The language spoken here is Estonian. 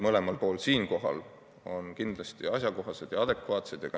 Mõlema poole argumendid on kindlasti asjakohased ja adekvaatsed.